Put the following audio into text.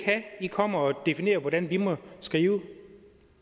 at i kommer og definere hvordan vi må skrive